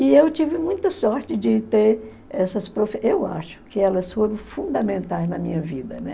E eu tive muita sorte de ter essas profe... Eu acho que elas foram fundamentais na minha vida, né?